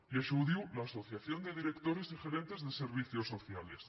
i això ho diu l’asociación de directores y gerentes de servicios sociales